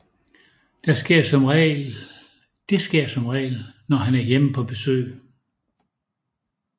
Det sker som regel når han er hjemme på besøg